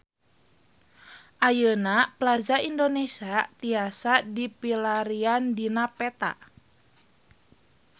Ayeuna Plaza Indonesia tiasa dipilarian dina peta